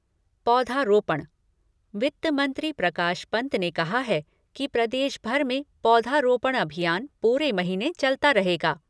पौधारोपण वित्त मंत्री प्रकाश पन्त ने कहा है कि प्रदेश भर में पौधारोपण अभियान पूरे महीने चलता रहेगा।